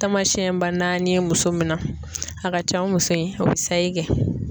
Tamasɛn ba naani ye muso min na, a ka can o muso in o bɛ sayi kɛ.